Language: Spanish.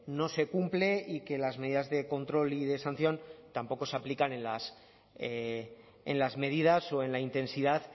no se cumple y que las medidas de control y de sanción tampoco se aplican en las medidas o en la intensidad